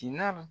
Tin na